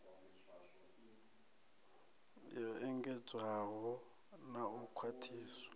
yo engedzedzwaho na u khwaṱhiswa